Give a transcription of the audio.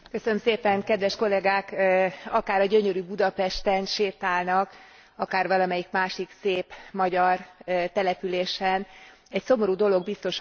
Akár a gyönyörű Budapesten sétálnak, akár valamelyik másik szép magyar településen, egy szomorú dolog biztosan fel fog tűnni Önöknek.